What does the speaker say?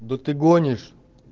да ты гонишь